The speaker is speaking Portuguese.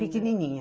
Pequenininha.